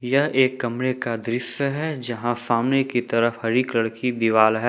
यह एक कमरे का दृश्य है जहां सामने की तरफ हरी कलर की दीवाल है।